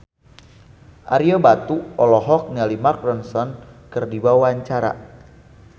Ario Batu olohok ningali Mark Ronson keur diwawancara